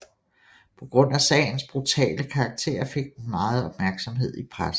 På grund af sagens brutale karakter fik den meget opmærksomhed i pressen